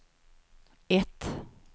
ett